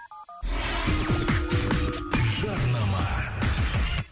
жарнама